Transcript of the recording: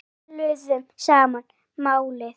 Við töluðum sama málið.